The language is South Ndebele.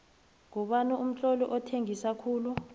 ngubani umtloli othengisa khulu